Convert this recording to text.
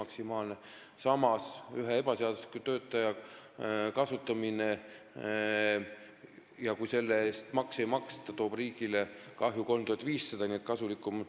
Samas toob ühe ebaseadusliku töötaja kasutamine, kui tema eest makse ei maksta, riigile kahju 3500 eurot.